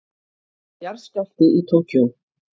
Jarðskjálfti í Tókýó